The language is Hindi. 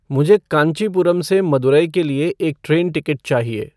मुझे कांचीपुरम से मदुरै के लिए एक ट्रैन टिकट चाहिए